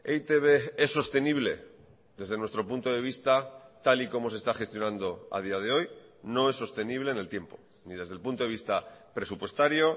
e i te be es sostenible desde nuestro punto de vista tal y como se está gestionando a día de hoy no es sostenible en el tiempo ni desde el punto de vista presupuestario